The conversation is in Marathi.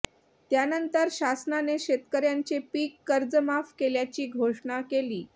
त्यानंतर शासनाने शेतकऱ्यांचे पीक कर्जमाफ केल्याची घोषणा केली